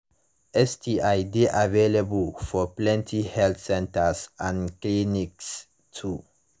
sti de available for plenty health centers and clinics too